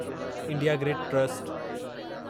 India grid trust